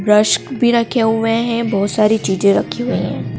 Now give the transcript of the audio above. रश्क भी रखे हुए है बहुत सारी चीजें रखी हुई है।